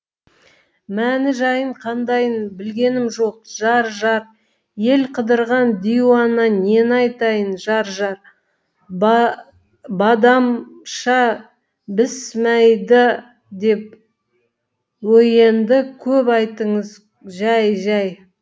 мәні жайын қандайын білгенім жоқ жар жар ел қыдырған диуана нені айтайын жар жар б а да м ша бісмәйдә деп өйенді көп айтыңыз жай жай